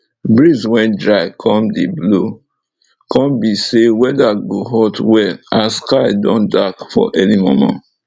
breeze wey dry con dey blow con be say weather go hot well as sky don dark for early momo